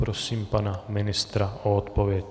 Prosím pana ministra o odpověď.